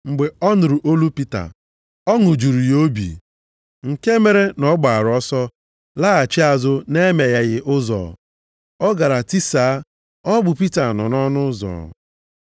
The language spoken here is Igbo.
Mgbe ọ nụrụ olu Pita, ọṅụ juru ya obi nke mere na ọ gbaara ọsọ laghachi azụ nʼemegheghị ụzọ. Ọ gara tisaa, “Ọ bụ Pita nọ nʼọnụ ụzọ!”